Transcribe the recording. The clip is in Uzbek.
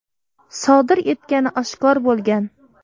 sodir etgani oshkor bo‘lgan.